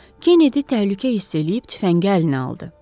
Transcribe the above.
Kennedy təhlükə hiss eləyib tüfəngi əlinə aldı.